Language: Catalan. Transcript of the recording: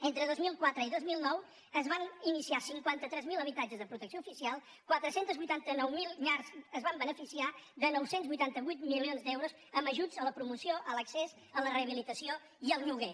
entre dos mil quatre i dos mil nou es van iniciar cinquanta tres mil habitatges de protecció oficial quatre cents i vuitanta nou mil llars es van beneficiar de nou cents i vuitanta vuit milions d’euros amb ajuts a la promoció a l’accés a la rehabilitació i al lloguer